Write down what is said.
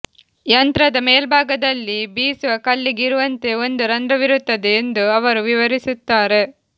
ಯಂತ್ರದ ಮೇಲ್ಭಾಗದಲ್ಲಿ ಬೀಸುವ ಕಲ್ಲಿಗೆ ಇರುವಂತೆ ಒಂದು ರಂಧ್ರವಿರುತ್ತದೆ ಎಂದು ಅವರು ವಿವರಿಸುತ್ತಾರೆ